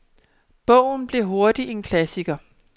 Bogen blev hurtigt en klassiker.